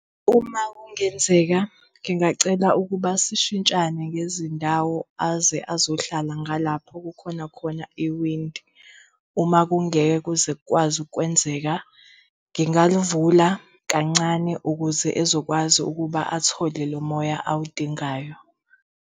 Uma kungenzeka ngingacela ukuba sishintshane ngezindawo aze azohlala ngalapho kukhona khona iwindi. Uma kungeke kuze kukwazi ukukwenzeka, ngingalivula kancane ukuze ezokwazi ukuba ethole lo moya awudingayo.